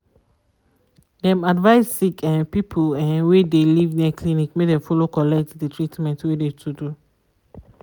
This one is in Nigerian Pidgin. dem advise sick um people um wey de live near clinic make dem follow collect de treatment wey de to do.